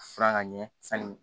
Furan ka ɲɛ sanni